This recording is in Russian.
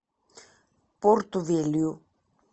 порту велью